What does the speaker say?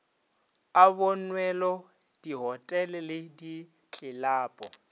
a bonwelo dihotele le ditlelapo